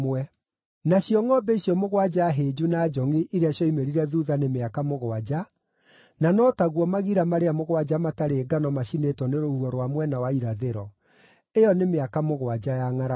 Nacio ngʼombe icio mũgwanja hĩnju na njongʼi iria cioimĩrire thuutha nĩ mĩaka mũgwanja, na no taguo magira marĩa mũgwanja matarĩ ngano macinĩtwo nĩ rũhuho rwa mwena wa irathĩro: ĩyo nĩ mĩaka mũgwanja ya ngʼaragu.